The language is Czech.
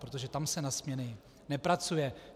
Protože tam se na směny nepracuje.